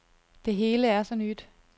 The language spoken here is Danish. Det hele er så nyt.